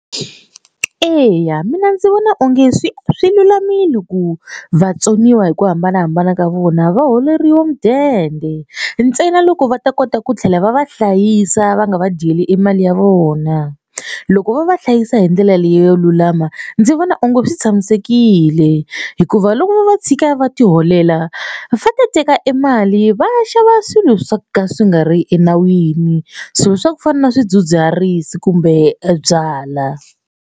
Eya mina ndzi vona onge swi swi lulamile ku vatsoniwa hi ku hambanahambana ka vona va holeriwa mudende ntsena loko va ta kota ku tlhela va va hlayisa va nga va dyeli e mali ya vona. Loko va va hlayisa hi ndlela leyo lulama ndzi vona onge swi tshamisekile hikuva loko vo va tshika va tiholela va fanele va teka e mali va ya xava swilo swa ka swi nga ri enawini swilo swa ku fana na swidzidziharisi kumbe byalwa.